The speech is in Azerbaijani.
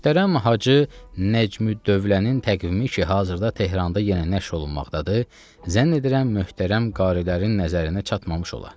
Möhtərəm Hacı Nəcmüddövlənin təqvimi ki, hazırda Tehranda yenə nəşr olunmaqdadır, zənn edirəm möhtərəm qarilərin nəzərinə çatmamış ola.